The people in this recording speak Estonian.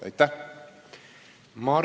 Aitäh!